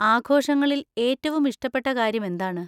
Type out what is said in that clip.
ആഘോഷങ്ങളിൽ ഏറ്റവും ഇഷ്ടപ്പെട്ട കാര്യം എന്താണ്?